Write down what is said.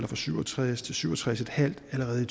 fra syv og tres til syv og tres en halv år allerede i